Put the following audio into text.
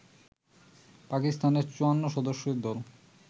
পাকিস্তানের ৫৪-সদস্যের দল